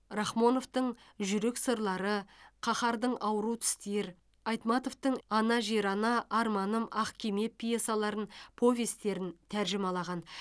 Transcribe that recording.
рахмоновтың жүрек сырлары каһардың ауру тістер айтматовтың ана жер ана арманым ақ кеме пьесаларын повестерін тәржімалаған